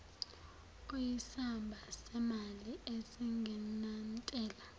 oyisamba semali esingenantela